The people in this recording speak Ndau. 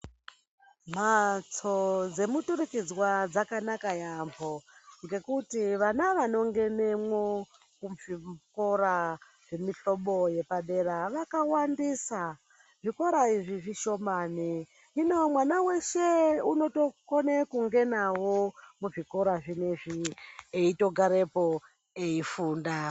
Mhatso dze muturukidzwa dzaka naka yambo ngekuti vana vano ngenemwo mu zvikora zvemu hlobo yepa dera vaka wandisa zvikora izvi zvishomani hino mwana weshe unoto kone ku ngenawo mu zvikora zvinezvi eito garepo eyi funda.